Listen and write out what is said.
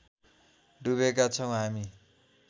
डुबेका छौँ हामी